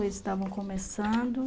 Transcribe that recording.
Eles estavam começando.